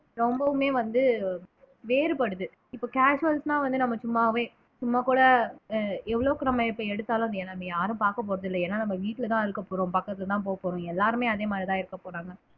ரொம்பவுமே வந்து வேறுபடுது இப்ப casuals ன்னா வந்து நம்ம சும்மாவே சும்மா கூட ஆஹ் எவ்வளவுக்கு நம்ம இப்ப எடுத்தாலும் நம்ம யாரும் பார்க்க போறது இல்லை ஏன்னா நம்ம வீட்டுலதான் இருக்க போறோம் பக்கத்துலதான் போக போறோம் எல்லாருமே அதே மாதிரிதான் இருக்க போறாங்க